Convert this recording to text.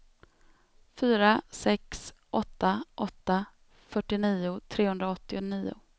fyra sex åtta åtta fyrtionio trehundraåttionio